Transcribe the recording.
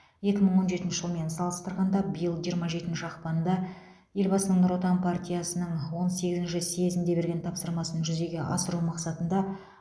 екі мың он жетінші жылмен салыстырғанда биыл жиырма жетінші ақпанда елбасының нұр отан партиясының он сегізінші съезінде берген тапсырмасын жүзеге асыру мақсатында